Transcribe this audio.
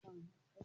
Mà á dán orí mí